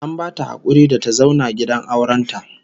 An bata hakuri da ta zauna gidan auren ta